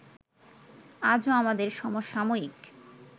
আজও আমাদের সমসাময়িক